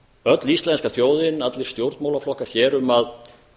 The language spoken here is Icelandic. öll íslenska þjóðin allir stjórnmálaflokkar hér um að